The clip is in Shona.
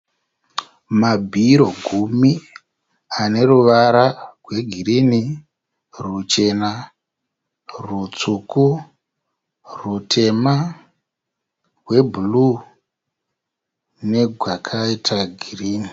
Mabhiro gumi ane ruvara rwegirini ruchena , rutsvuku ,rutema rwebhururu negwakaita girini